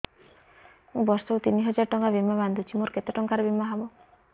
ମୁ ବର୍ଷ କୁ ତିନି ହଜାର ଟଙ୍କା ବୀମା ବାନ୍ଧୁଛି ମୋର କେତେ ଟଙ୍କାର ବୀମା ହବ